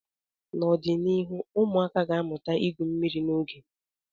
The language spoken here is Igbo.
N'ọdịnihu, ụmụaka ga-amụta igwu mmiri n'oge.